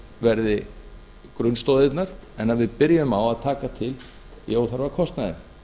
verði grunnstoðirnar en við byrjum á að taka til í óþarfa kostnaði